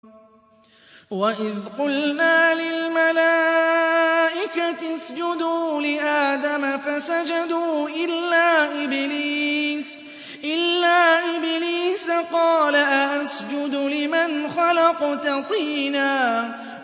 وَإِذْ قُلْنَا لِلْمَلَائِكَةِ اسْجُدُوا لِآدَمَ فَسَجَدُوا إِلَّا إِبْلِيسَ قَالَ أَأَسْجُدُ لِمَنْ خَلَقْتَ طِينًا